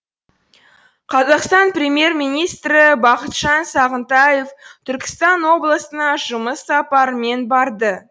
қазақстан премьер министрі бақытжан сағынтаев түркістан облысына жұмыс сапарымен барды